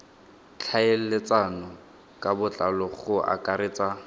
tlhaeletsano ka botlalo go akaretsa